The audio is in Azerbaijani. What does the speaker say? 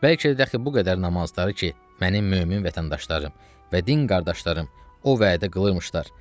Bəlkə dəxi bu qədər namazları ki, mənim mömin vətəndaşlarım və din qardaşlarım o vədə qılırmışlar.